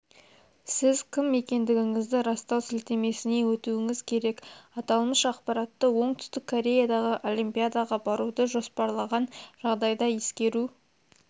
сіз кім екендігіңізді растау сілтемесіне өтуіңіз керек аталмыш ақпаратты оңтүстік кореядағы олимпиадаға баруды жоспарлаған жағдайда ескеру